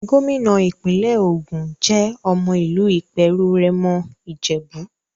Gómìnà ìpínlẹ̀ Ògùn jẹ́ ọmọ ìlú Ìpèrù-Rẹ́mọ Ìjèbú.